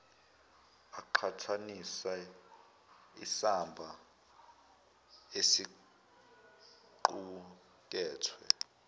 aqhathanise isamba esiqukethwe